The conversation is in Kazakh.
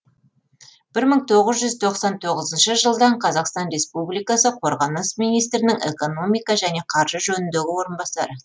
бір мың тоғыз жұз тоқсан тоғызыншы жылдан қазақстан респуликасы қорғаныс министрінің экономика және қаржы жөніндегі орынбасары